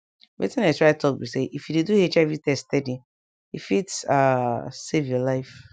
wetin i dey try talk be say if you dey do hiv test steady e fit ah save your life